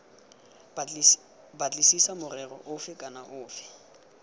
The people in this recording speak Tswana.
batlisisa morero ofe kana ofe